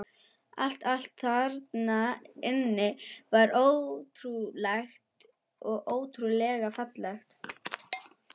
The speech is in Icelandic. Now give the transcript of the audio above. Allt, allt þarna inni var óvenjulegt og ótrúlega fallegt.